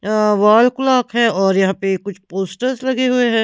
अ wall clock है और यहां पे कुछ पोस्टर्स लगे हुए हैं।